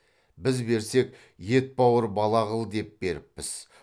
біз берсек етбауыр бала қыл деп беріппіз